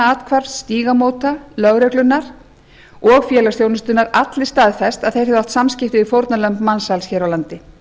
kvennaathvarfs stígamóta lögreglunnar og félagsþjónustunnar allir staðfest að þeir hefðu átt samskipti við fórnarlömb mansals hér á landi